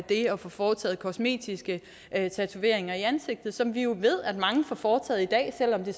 det at få foretaget kosmetiske tatoveringer i ansigtet som vi jo ved at mange får foretaget i dag selv om det